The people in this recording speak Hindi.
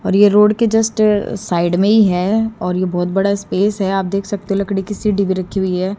और ये रोड के जस्ट साइड में ही है और ये बहोत बड़ा स्पेस है आप देख सकते हो लकड़ी कि सीढ़ी भी रखी हुई है।